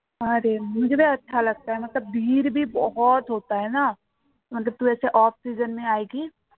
off season